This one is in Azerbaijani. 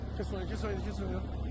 Çəkin, çəkin, çəkin yox.